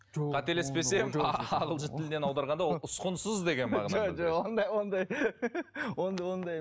қателеспесем ағылшын тілінен аударғанда ол ұсқынсыз деген мағынаны білдіреді ондай